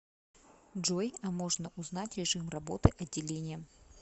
джой а можно узнать режим работы отделения